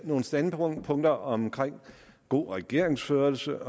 nogle standpunkter om god regeringsførelse